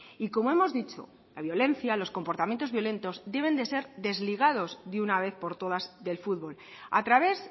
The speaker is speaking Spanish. y como hemos dicho la violencia los comportamientos violentos deben de ser desligados de una vez por todas del fútbol a través